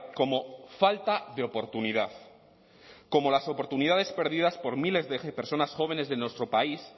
como falta de oportunidad como las oportunidades perdidas por miles de personas jóvenes de nuestro país